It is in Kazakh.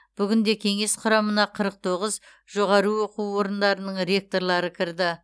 бүгінде кеңес құрамына қырық тоғыз жоғары оқу орындарының ректорлары кіреді